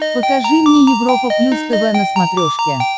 покажи мне европа плюс тв на смотрешке